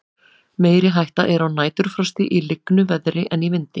meiri hætta er á næturfrosti í lygnu veðri en í vindi